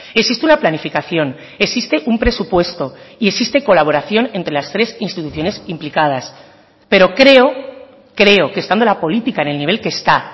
existe una planificación existe un presupuesto y existe colaboración entre las tres instituciones implicadas pero creo creo que estando la política en el nivel que está